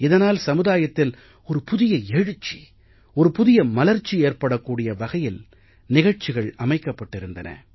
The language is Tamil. இதனால் சமுதாயத்தில் ஒரு புதிய எழுச்சி ஒரு புதிய மலர்ச்சி ஏற்படக் கூடிய வகையில் நிகழ்ச்சிகள் அமைக்கப்பட்டிருந்தன